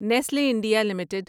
Nestle India limited